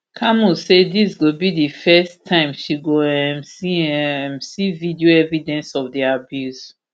camus say dis go be di first time she go um see um see video evidence of di abuse